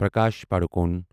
Prakash Padukone